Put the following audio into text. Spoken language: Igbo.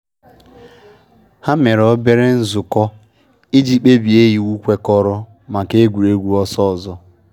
Ha mere obere nzukọ iji kpebie iwu kwekọrọ maka egwuregwu ọsọ ọzọ